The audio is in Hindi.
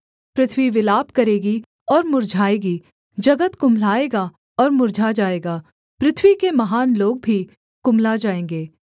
पृथ्वी विलाप करेगी और मुर्झाएगी जगत कुम्हलाएगा और मुर्झा जाएगा पृथ्वी के महान लोग भी कुम्हला जाएँगे